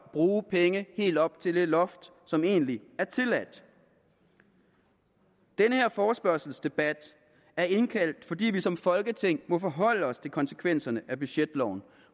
bruge penge helt op til det loft som egentlig er tilladt den her forespørgselsdebat er indkaldt fordi vi som folketing må forholde os til konsekvenserne af budgetloven